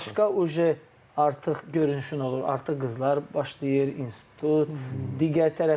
Və sənin başqa uje artıq görünüşün olur, artıq qızlar başlayır, institut, digər tərəflər.